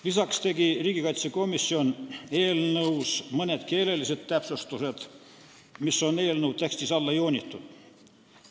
Lisaks tegi riigikaitsekomisjon mõned keelelised täpsustused, mis on eelnõu tekstis alla joonitud.